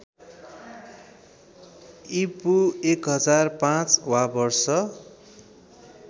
ईपू १००५ वा वर्ष